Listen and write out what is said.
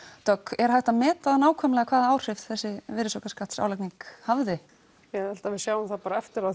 dögg er hægt að meta það nákvæmlega hvaða áhrif þessi virðisaukaskatts álagning hafði ég held við sjáum það bara eftir á